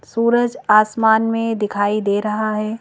सूरज आसमान में दिखाई दे रहा है।